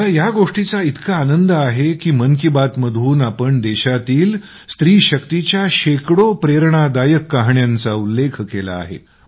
मला या गोष्टीचा इतका आनंद आहे की मन की बातमधून आम्ही देशातील स्त्री शक्तीच्या शेकडो प्रेरणादायक कहाण्यांचा उल्लेख केला आहे